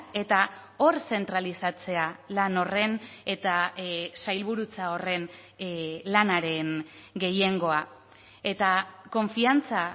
eta hor zentralizatzea lan horren eta sailburutza horren lanaren gehiengoa eta konfiantza